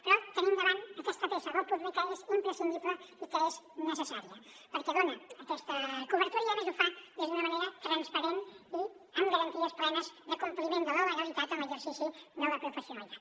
però tenim davant aquesta peça del puzle que és imprescindible i que és necessària perquè dona aquesta cobertura i a més ho fa d’una manera transparent i amb garanties plenes de compliment de la legalitat en l’exercici de la professionalitat